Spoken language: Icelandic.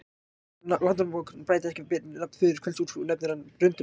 Landnámabók bætir betur við nafn föður Kveld-Úlfs og nefnir hann Brunda-Bjálfa.